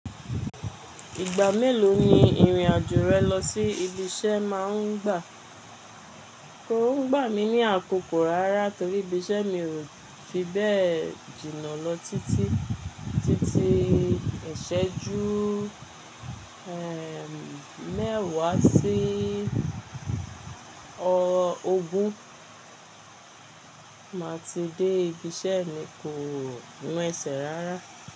Ìgbà mélòó ni ìrìn-àjò rẹ lọ sí ibi iṣẹ́ máa ń gbà? Kò ń gbà mí ní àkókò rárá torí ibi iṣẹ́ mi ò fi bẹ́ẹ̀ jìnnà lọ títí, títí ìṣẹ́jú, eh, mẹ́wàá sí ọ ogún, màá ti dé ibi iṣẹ́ mi kò ń wẹ̀sẹ̀ rárá.